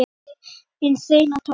Hún hafði hinn hreina tón.